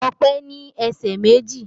Ọpẹ́ ní ẹsẹ̀ méjì